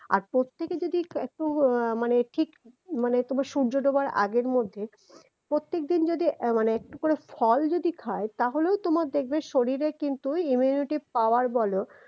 আর প্রত্যেকে যদি এ একটু উহ মানে ঠিক মানে তোমার সূর্য ডোবার আগের মধ্যে প্রত্যেকদিন যদি এ মানে একটু করে ফল যদি খায় তাহলেও তোমার দেখবে শরীরে কিন্তু ঐ immunity power বলো